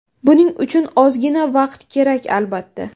Buning uchun ozgina vaqt kerak, albatta.